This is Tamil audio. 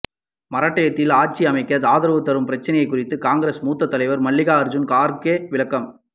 மராட்டியத்தில் ஆட்சி அமைக்க ஆதரவு தரும் பிரச்சனை குறித்து காங்கிரஸ் மூத்த தலைவர் மல்லிகார்ஜூன் கார்கே விளக்கம்